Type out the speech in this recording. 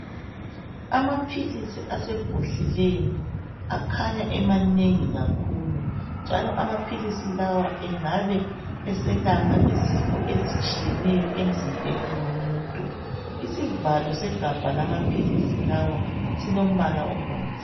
Amaphilisi asebhodleleni akhanya emanengi kakhulu njalo amaphilisi lawa engabe eselapha izifo ezitshiyeneyo emzimbeni womuntu isivalo segabha lamaphilisi lawa silombala obomvu.